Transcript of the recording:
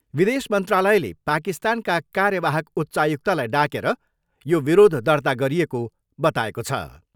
विदेश मन्त्रालयले पाकिस्तानका कार्यवाहक उच्चायुक्तलाई डाकेर यो विरोध दर्ता गरिएको बताएको छ।